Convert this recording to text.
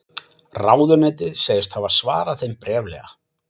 Ráðuneytið segist hafa svarað þeim bréflega